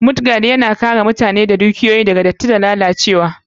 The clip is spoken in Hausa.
Mudguard, Yana kare mutane da dukiyoyi daga datti, datsi, da lalacewa.